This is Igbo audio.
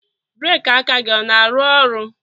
breeki aka gị na-arụ ọrụ